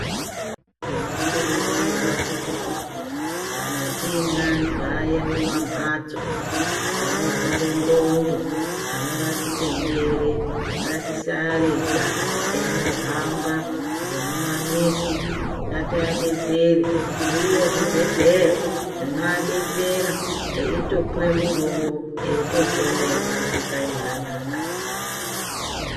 Tinokurudzirwa kuti kana tine antu aye mumamhatso anorware ndxondo, anorasike njere, ngatisarega eyindohamba ngemumamizi. Ngatiadetsere. Zviriyo zvibhedhleya zvinoadetsera, eyitopuwe mutombo, eyitopona eyitodzoke kanyi anaka.